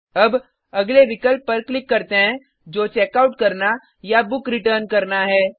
अब अगले विकल्प पर क्लिक करते हैं जो चेकआउट करना या बुक रिटर्न करना है